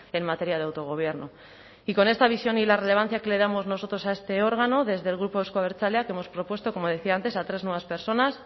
en materia de autogobierno y con esta visión y la relevancia que le damos nosotros a este órgano desde el grupo euzko abertzaleak hemos propuesto como decía antes a tres nuevas personas